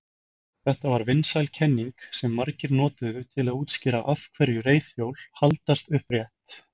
Þetta var vinsæl kenning sem margir notuðu til að útskýra af hverju reiðhjól haldast upprétt.